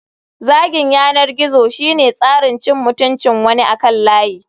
Zagin yanar gizo shine tsarin cin mutuncin wani akan layi.